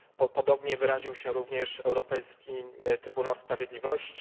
Podobnie wyraził się również Europejski Trybunał Sprawiedliwości.